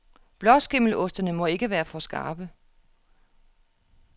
Blåskimmelostene må ikke være for skarpe.